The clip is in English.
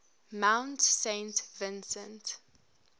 mount saint vincent